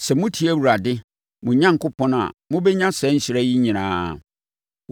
Sɛ motie Awurade, mo Onyankopɔn a, mobɛnya saa nhyira yi nyinaa: